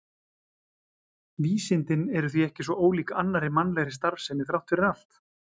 Vísindin eru því ekki svo ólík annarri mannlegri starfsemi þrátt fyrir allt.